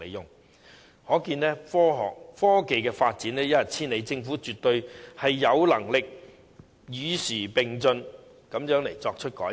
由此可見，科技發展一日千里，政府絕對有能力與時並進及作出改變。